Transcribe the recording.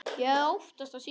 Ég hafði óttast þá síðan.